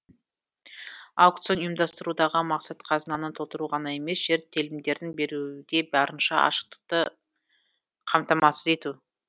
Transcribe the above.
аукцион ұйымдастырудағы мақсат қазынаны толтыру ғана емес жер телімдерін беруде барынша ашықтықты қамтамасыз ету